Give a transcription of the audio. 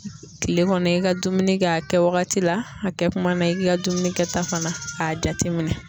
Kile kɔnɔ ,i ka dumuni kɛ a kɛ wagati la a kɛ kuma na i k'i ka dumuni kɛ ta fana k'a jateminɛ